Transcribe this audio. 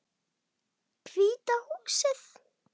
Hvíta húsið.